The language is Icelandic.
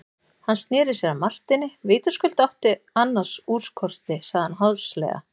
Hann sneri sér að Marteini:-Vitaskuld áttu annars úrkosti, sagði hann háðslega.